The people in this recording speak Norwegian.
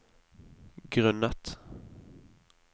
grunnet